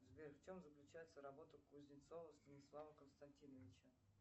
сбер в чем заключается работа кузнецова станислава константиновича